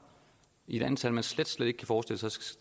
i et antal som man slet slet ikke kan forestille sig